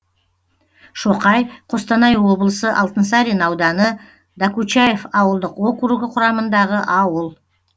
шоқай қостанай облысы алтынсарин ауданы докучаев ауылдық округі құрамындағы ауыл